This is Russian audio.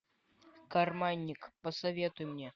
карманник посоветуй мне